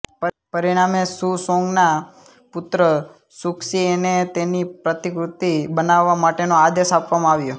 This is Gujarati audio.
પરિણામે સુ સોંગના પુત્ર સુ ક્સિએને તેની પ્રતિકૃતિ બનાવવા માટેનો આદેશ આપવામાં આવ્યો